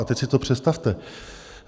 A teď si to představte.